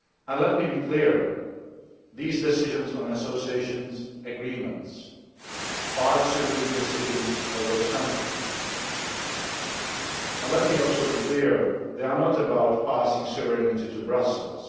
Let me be clear that these decisions on Association Agreements are sovereign decisions of those countries. Let me also be clear that they are not about passing sovereignty to Brussels.